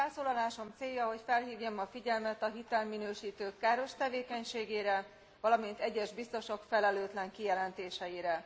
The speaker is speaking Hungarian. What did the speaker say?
Felszólalásom célja, hogy felhívjam a figyelmet a hitelminősítők káros tevékenységére, valamint egyes biztosok felelőtlen kijelentéseire.